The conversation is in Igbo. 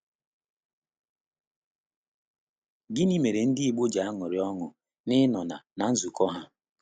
Gịnị mere ndị Igbo ji aṅụrị ọṅụ n’ịnọ na na nzukọ ha?